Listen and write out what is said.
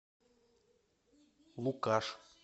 лукаш